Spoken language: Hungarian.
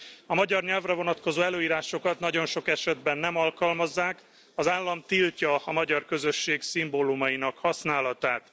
A magyar nyelvre vonatkozó előírásokat nagyon sok esetben nem alkalmazzák, az állam tiltja a magyar közösség szimbólumainak használatát.